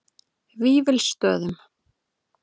Vífilsstöðum